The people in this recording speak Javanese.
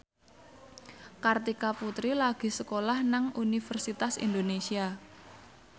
Kartika Putri lagi sekolah nang Universitas Indonesia